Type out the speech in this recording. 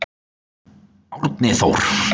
Árni Þór!